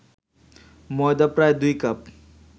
ময়দা প্রায় ২ কাপ